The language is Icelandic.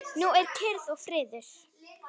Nú er kyrrð og friður.